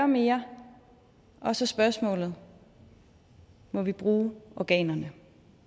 mere og så spørgsmålet må vi bruge organerne